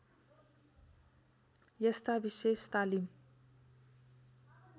यस्ता विशेष तालिम